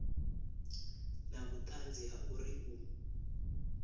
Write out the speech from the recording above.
na vhuṱanzi ha uri u